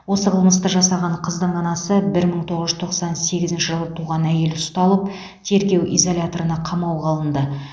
осы қылмысты жасаған қыздың анасы бір мың тоғыз жүз тоқсан сегізінші жылы туған әйел ұсталып тергеу изоляторына қамауға алынды